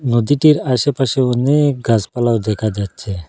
নদীটির আশেপাশে অনেক গাছপালাও দেখা যাচ্ছে।